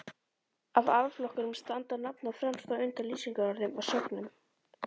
Af orðflokkunum standa nafnorð fremst, á undan lýsingarorðum og sögnum.